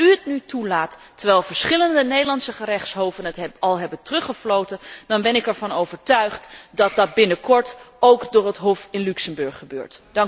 Als u het nu toelaat, terwijl verschillende Nederlandse gerechtshoven het al hebben teruggefloten, dan ben ik ervan overtuigd dat dat binnenkort ook door het Hof in Luxemburg gebeurt.